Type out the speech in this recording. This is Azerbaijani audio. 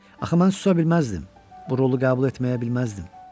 Axı mən susa bilməzdim, bu rolu qəbul etməyə bilməzdim.